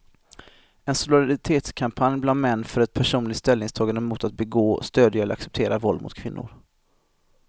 En solidaritetskampanj bland män för ett personligt ställningstagande mot att begå, stödja eller acceptera våld mot kvinnor.